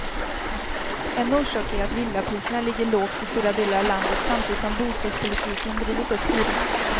En orsak är att villapriserna ligger lågt i stora delar av landet samtidigt som bostadspolitiken drivit upp hyrorna.